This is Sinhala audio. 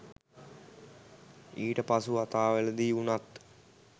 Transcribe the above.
ඊට පසු වතාවලදී වුණත්